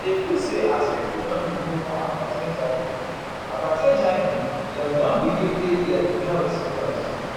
i dey feel say as pipo don dey know more about hiv about hiv dem don begin take their health serious.